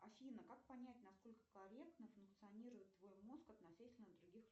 афина как понять насколько корректно функционирует твой мозг относительно других